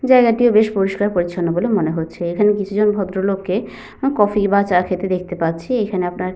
জায়গাটিও বেশ পরিষ্কার পরিছন্ন বলে মনে হচ্ছে। এখানে কিছুজন ভদ্রলোক কে কফি বা চা খেতে দেখতে পাচ্ছি। এইখানে আপনার।